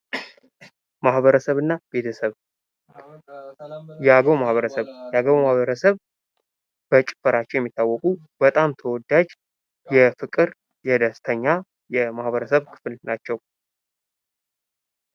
ማህበርሰብ እና ቤተሰብ ፦ የአገው ማህበረሰብ፦ የአገው ማህበረሰብ በጭፈራቸው የሚታወቁ በጣም ተወዳጅ የፍቅር የደስተኛ የማህበርሰብ ክፍል ናቸው።